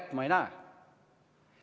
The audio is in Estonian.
Aga ma ei näe ühtki kätt.